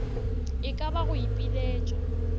e ka ba go ipiletša